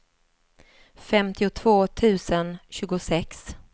femtiotvå tusen tjugosex